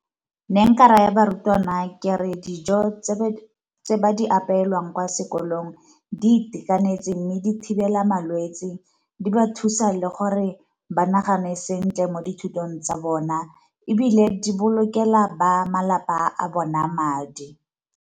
Ne nka ra ya barutwana kere dijo tse di apelwang kwa sekolong di itekanetse mme di thibela malwetsi, di ba thusa le gore ba nagane sentle mo dithutong tsa bona, ebile di bolokelang ba malapa a bona madi